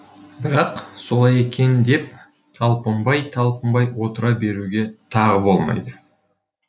бірақ солай екен деп талпынбай талпынбай отыра беруге тағы болмайды